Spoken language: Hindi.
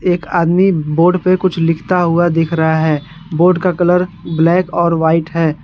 एक आदमी ब बोर्ड पे कुछ लिखता हुआ दिख रहा है बोर्ड का कलर ब्लैक और वाइट है।